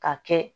Ka kɛ